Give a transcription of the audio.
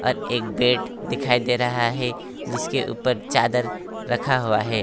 एक बेड दिखाई दे रहा है जिसके ऊपर चादर रखा हुआ है।